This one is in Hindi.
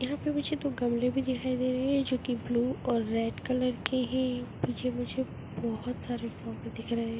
यहाँ पर मुझे दो गमले भी दिखाई दे रहे है जो की ब्लू ओर रेड कलर के है पीछे मुझे बहोत सारे फ्लावर दिख रहे है।